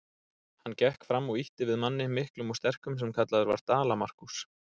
Hann gekk fram og ýtti við manni, miklum og sterkum, sem kallaður var Dala-Markús.